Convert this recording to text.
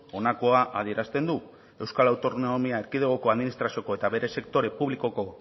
honakoa adierazten du euskal autonomia erkidegoko administrazioko eta bere sektore publikoko